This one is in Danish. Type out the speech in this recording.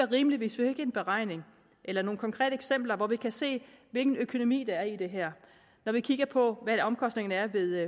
rimeligt hvis vi fik en beregning eller nogle konkrete eksempler så vi kunne se hvilken økonomi der er i det her når vi kigger på hvad omkostningerne er ved